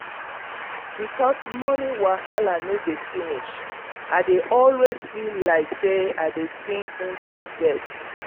because moni wahala no dey finish i dey always feel like say i dey sink inside debt.